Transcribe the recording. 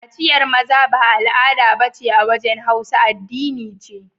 Kaciyar maza ba al'ada ba ce a wajen Hausa, Addini ce.